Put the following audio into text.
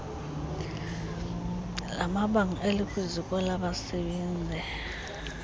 lamabango elikwiziko labasebenzii